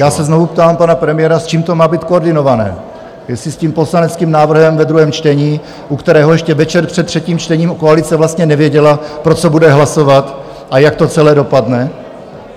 Já se znovu ptám pana premiéra, s čím to má být koordinované, jestli s tím poslaneckým návrhem ve druhém čtení, u kterého ještě večer před třetím čtení koalice vlastně nevěděla, pro co bude hlasovat a jak to celé dopadne?